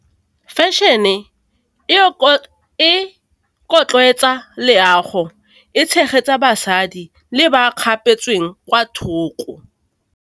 Fashion- e e leago, e tshegetsa basadi le ba kgapetsweng kwa thoko.